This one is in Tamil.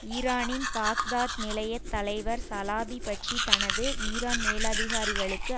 ஈரானின் பாக்தாத் நிலையத் தலைவர் சலாபி பற்றி தனது ஈரான் மேலதிகாரிகளுக்கு